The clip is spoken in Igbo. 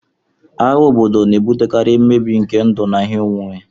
Agha obodo na-ebutekarị mbibi nke ndụ na ihe onwunwe